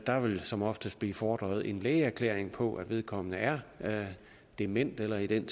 der vil som oftest blive fordret en lægeerklæring på at vedkommende er dement eller i den